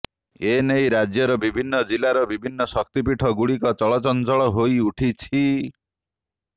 ଏନେଇ ରାଜ୍ୟର ବିଭିନ୍ନ ଜିଲ୍ଲାର ବିଭିନ୍ନ ଶକ୍ତିପୀଠ ଗୁଡିକ ଚଳଚଞ୍ଚଳ ହୋଇଉଠିଛି